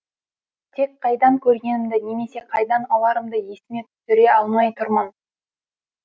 тек қайдан көргенімді немесе қайдан аларымды есіме түсіре алмай тұрмын